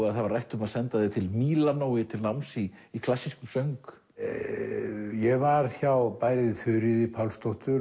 að það var rætt um að senda þig til Mílanó til náms í í klassískum söng ég var hjá bæði Þuríði Pálsdóttur